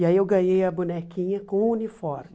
E aí eu ganhei a bonequinha com o uniforme.